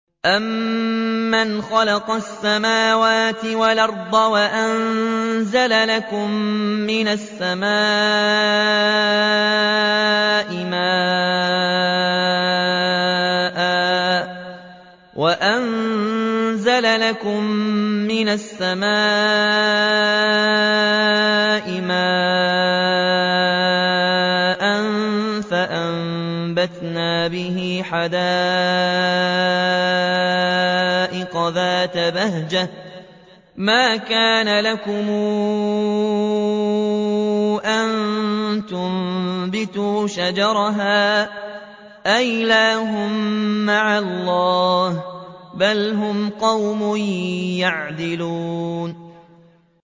أَمَّنْ خَلَقَ السَّمَاوَاتِ وَالْأَرْضَ وَأَنزَلَ لَكُم مِّنَ السَّمَاءِ مَاءً فَأَنبَتْنَا بِهِ حَدَائِقَ ذَاتَ بَهْجَةٍ مَّا كَانَ لَكُمْ أَن تُنبِتُوا شَجَرَهَا ۗ أَإِلَٰهٌ مَّعَ اللَّهِ ۚ بَلْ هُمْ قَوْمٌ يَعْدِلُونَ